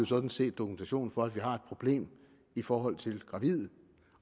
sådan set dokumentation for at vi har et problem i forhold til gravide